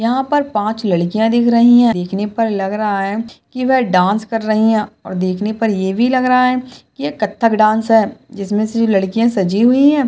यहाँ पर पाँच लड़कियां दिख रही है देखने पर लग रहा है की वे डान्स कर रही है और देखने पर ये भी लग रहा है की ये कत्थक डान्स है जिसमे लड़कियां सजी हुई है।